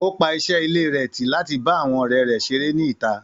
Ó pa iṣẹ́ ilé rẹ̀ tì láti bá àwọn ọ̀rẹ́ rẹ̀ ṣeré ní ìta.